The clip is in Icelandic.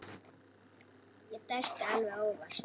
Ég dæsti alveg óvart.